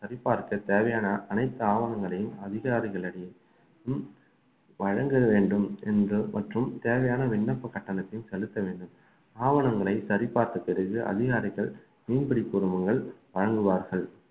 சரிபார்க்க தேவையான அனைத்து ஆவணங்களையும் அதிகாரிகளிடையேவும் வழங்க வேண்டும் என்று மற்றும் தேவையான விண்ணப்ப கட்டணத்தை செலுத்த வேண்டும் ஆவணங்களை சரிபார்த்த பிறகு அதிகாரிகள் மீன்பிடி உரிமங்கள் வழங்குவார்கள்